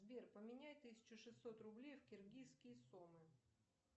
сбер поменяй тысячу шестьсот рублей в киргизские сомы